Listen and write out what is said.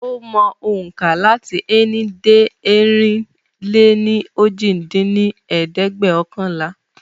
Ó mọ ohùnkà lati ení dé ẹ̀rin-lé-ní-ojì dín ní ẹ̀ẹ́dẹ́gbẹ́ọ̀kànlá.